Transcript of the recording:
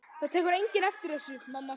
Það tekur enginn eftir þessu, mamma.